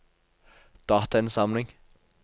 datainnsamling